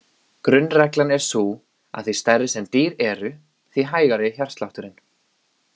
Grunnreglan er sú að því stærri sem dýr eru því hægari er hjartslátturinn.